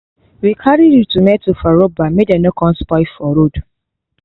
we carry the tomatoes for rubber may dey no con spoil for road